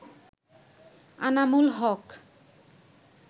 Anamul Haque